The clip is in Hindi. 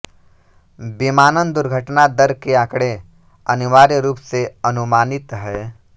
विमानन दुर्घटना दर के आंकड़े अनिवार्य रूप से अनुमानित हैं